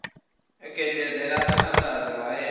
egedezela ethandaza wayezwa